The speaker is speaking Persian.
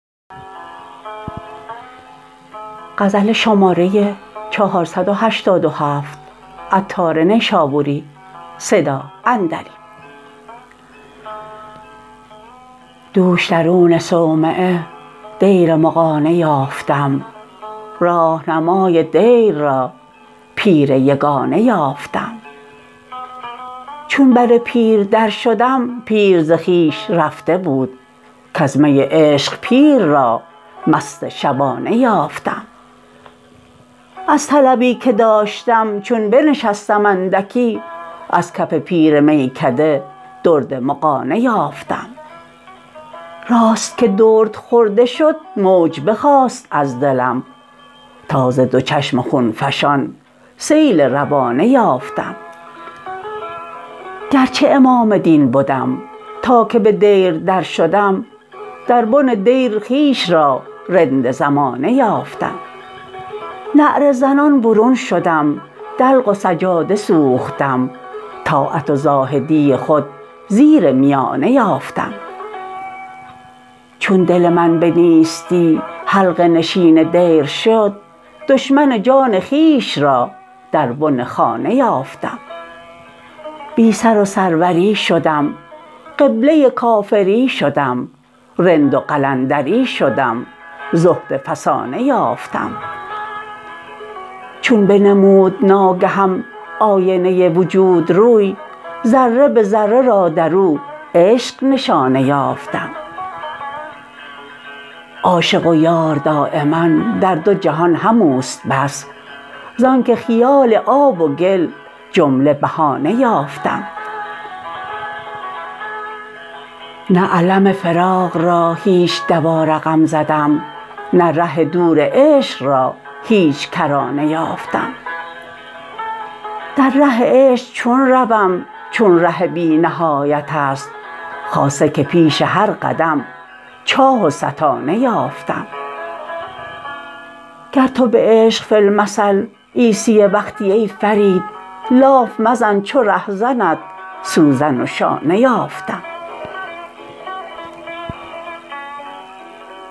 دوش درون صومعه دیر مغانه یافتم راهنمای دیر را پیر یگانه یافتم چون بر پیر در شدم پیر ز خویش رفته بود کز می عشق پیر را مست شبانه یافتم از طلبی که داشتم چون بنشستم اندکی از کف پیر میکده درد مغانه یافتم راست که درد خورده شد موج بخاست از دلم تا ز دو چشم خون فشان سیل روانه یافتم گرچه امام دین بدم تا که به دیر در شدم در بن دیر خویش را رند زمانه یافتم نعره زنان برون شدم دلق و سجاده سوختم طاعت و زاهدی خود زیر میانه یافتم چون دل من به نیستی حلقه نشین دیر شد دشمن جان خویش را در بن خانه یافتم بی سر و سروری شدم قبله کافری شدم رند و قلندری شدم زهد فسانهافتم چون بنمود ناگهم آینه وجود روی ذره به ذره را درو عشق نشانه یافتم عاشق و یار دایما در دو جهان هموست بس زانکه خیال آب و گل جمله بهانه یافتم نه الم فراق را هیچ دوا رقم زدم نه ره دور عشق را هیچ کرانه یافتم در ره عشق چون روم چون ره بی نهایت است خاصه که پیش هر قدم چاه و ستانه یافتم گر تو به عشق فی المثل عیسی وقتی ای فرید لاف مزن چو رهزنت سوزن و شانه یافتم